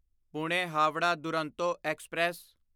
Pune Howrah Duronto express